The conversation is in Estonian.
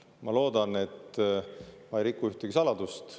Ma loodan, et ma ei ühtegi saladust.